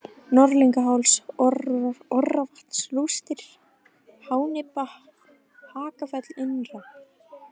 Norðlingaháls, Orravatnsrústir, Hánibba, Hakafell innra